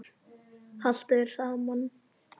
Haltu þér saman